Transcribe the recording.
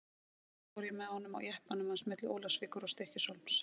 Eitt sinn fór ég með honum á jeppanum hans milli Ólafsvíkur og Stykkishólms.